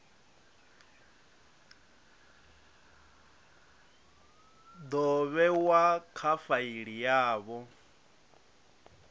do vhewa kha faili yavho